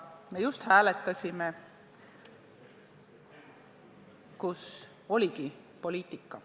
Me just hääletasime ja oligi poliitika.